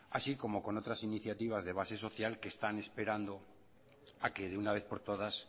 así como con otras iniciativas de base social que están esperando a que de una vez por todas